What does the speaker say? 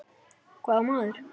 Hvaða maður?